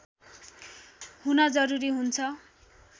हुन जरुरी हुन्छ